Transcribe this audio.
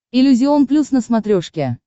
иллюзион плюс на смотрешке